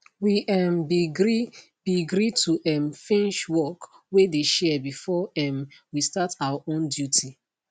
we um be gree be gree to um finsh work wey de share before um we start our own duty